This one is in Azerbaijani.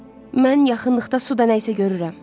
Mən yaxınlıqda suda nəyisə görürəm.